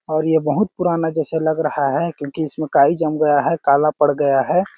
और ये बहुत पुराना जैसा लग रहा है क्यों की इस में काई जम गया है काला पड़ गया है।